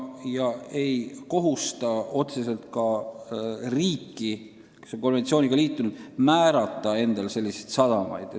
See ei kohusta otseselt ka riiki, mis on konventsiooniga liitunud, määrama endale selliseid sadamaid.